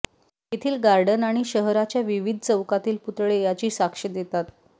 येथील गार्डन आणि शहराच्या विविध चौकातील पुतळे याची साक्ष देतात